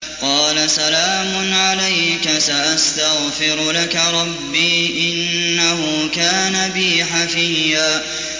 قَالَ سَلَامٌ عَلَيْكَ ۖ سَأَسْتَغْفِرُ لَكَ رَبِّي ۖ إِنَّهُ كَانَ بِي حَفِيًّا